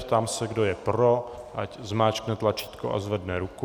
Ptám se, kdo je pro, ať zmáčkne tlačítko a zvedne ruku.